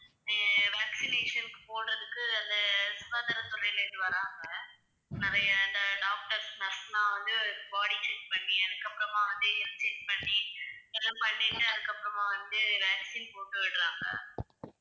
அஹ் vaccination க்கு போடறதுக்கு அந்தச் சுகாதாரத்துறையில இருந்து வர்றாங்க நிறைய இந்த doctors, nurse எல்லாம் வந்து body check பண்ணி அதுக்கப்புறமா வந்து health check பண்ணி எல்லாம் பண்ணிட்டு அதுக்கப்புறமா வந்து vaccine போட்டு விடுறாங்க.